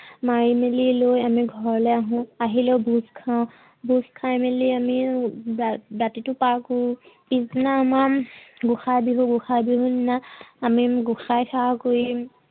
মাৰি মেলি লৈ আমি ঘৰলৈ আহো। আহি লৈ গোট খাওঁ গোট খাই মেলি আমি ৰাতিটো পাৰ কৰো। পিছদিনা আমাৰ গোসাই বিহু গোসাই বিহুৰ দিনা আমি গোসাই সেৱা কৰি